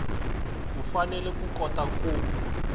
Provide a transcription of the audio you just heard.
u fanele ku kota ku